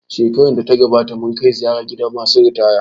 Shekarar da ta gabata mun kai ziyara gidan masu ritaya